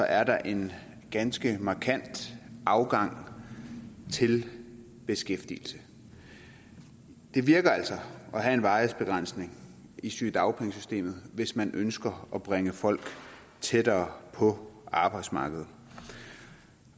er der en ganske markant afgang til beskæftigelse det virker altså at have en varighedsbegrænsning i sygedagpengesystemet hvis man ønsker at bringe folk tættere på arbejdsmarkedet